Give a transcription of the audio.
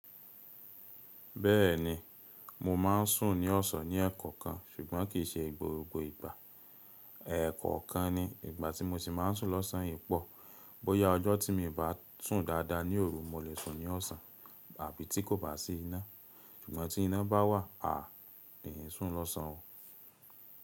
Bẹ́ẹ̀ni, mo máa ń sùn ní ọ̀sán ní ẹ̀ẹ̀kó kan ṣùgbọ́n kì í ṣe gbogbo ìgbà. Ẹ̀ẹ̀kó kan ni, ìgbà tí mo ṣì máa ń sùn lọ́sàn-án ìpọ, bóyá ọjọ́ tí mo bá tùn dáadáa ní òru, mo lè sùn ní ọ̀sán, àbí tí kò bá sí iná. Sùgbọ́n tí iná bá wà, àá, mi kì í sùn lọ́sàn-án o.